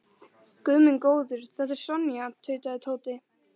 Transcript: Guð minn góður, þetta er Sonja tautaði Tóti.